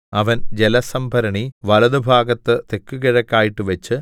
അവൻ ജലസംഭരണി വലത്തുഭാഗത്ത് തെക്കുകിഴക്കായിട്ട് വെച്ചു